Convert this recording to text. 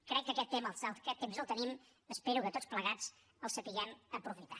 crec que aquest temps el tenim i espero que tots plegats el sapiguem aprofitar